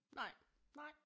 Nej nej